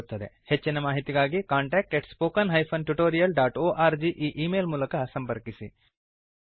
ಹೆಚ್ಚಿನ ಮಾಹಿತಿಗಾಗಿ contact spoken tutorialorg ಈ ಈ ಮೇಲ್ ಮೂಲಕ ಸಂಪರ್ಕಿಸಿ